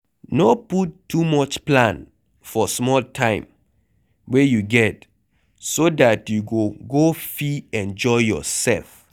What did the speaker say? No put too much plan for small time wey you get so dat you go go fit enjoy yourself